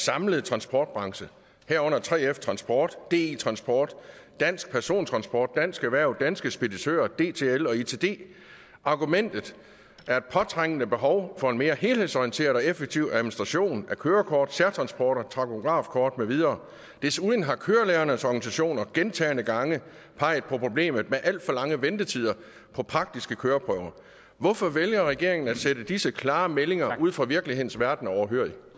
samlet transportbranche herunder 3f transport di transport dansk persontransport dansk erhverv danske speditører dtl og itd argumentet var et påtrængende behov for en mere helhedsorienteret og effektiv administration af kørekort særtransporter og takografkort med videre desuden har kørelærernes organisationer gentagne gange peget på problemet med alt for lange ventetider på praktiske køreprøver hvorfor vælger regeringen at sidde disse klare meldinger ude fra virkelighedens verden overhørig